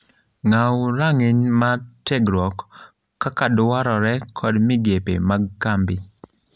Ng'aw rang'iny mar tiegruok kaka dwarre kod migepe mag kambvi.